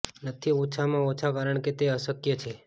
નથી ઓછામાં ઓછા કારણ કે તે અશક્ય છે